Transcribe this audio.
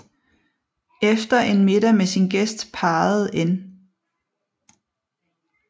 Efter en middag med sin gæst pegede N